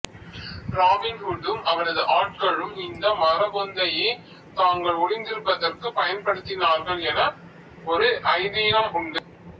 robin ஹூட்டும் அவனது ஆட்களும் இந்த மரப்பொந்தையே தாங்கள் ஒளித்திருப்பதற்குப் பயன்படுத்தினார்கள் என ஒரு ஐதிகம் உண்டு